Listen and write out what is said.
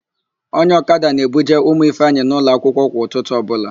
Onye ọkada na-ebuje ụmụ Ifeanyị ụlọakwụkwọ kwa ụtụtụ ọbụla.